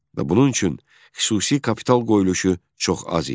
Və bunun üçün xüsusi kapital qoyuluşu çox az idi.